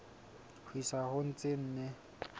ho isa ho tse nne